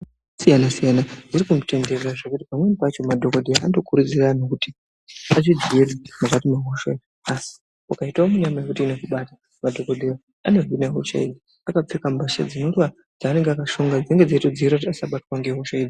Hosha dzakasiyanasiyana dzirikutenderera zvekuti pamweni pacho madhokodheya anotokurudzira anhu kuti azvidzirire mukati mwehosha iyi asi ukaitawo munyama wekuti hosha iyi inokubata madhokodheya anohina hoshayo akapfeka mbasha dzaanonga akashonga dzinenge dzeitodziirira kuti asabatwa ngehoshayo.